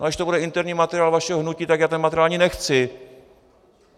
A když to bude interní materiál vašeho hnutí, tak já ten materiál ani nechci.